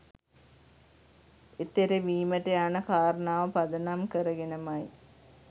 එතෙරවීමට යන කාරණාව පදනම් කරගෙන ම යි.